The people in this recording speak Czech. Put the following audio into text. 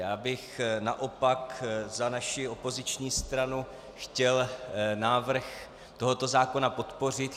Já bych naopak za naši opoziční stranu chtěl návrh tohoto zákona podpořit.